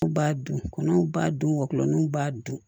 U b'a dun kɔnɔnw b'a dunniw b'a dun